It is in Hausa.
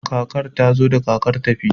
kakar ta zo da kakar tafi